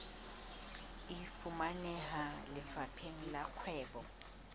e fumaneha lefapheng la kgwebo